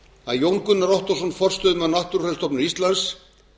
að jón gunnar ottósson forstöðumaður náttúrufræðistofnunar íslands